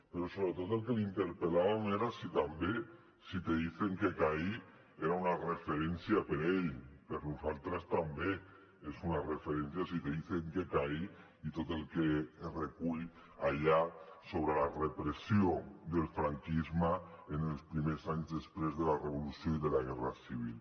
però sobretot en el que l’interpel·làvem era si també si te dicen que caí era una referència per a ell per a nosaltres també és una referència si te dicen que caí i tot el que es recull allà sobre la repressió del franquisme en els primers anys després de la revolució i de la guerra civil